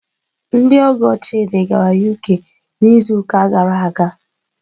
Ndị ọgọ Chidị gara UK n'izuụka gara aga.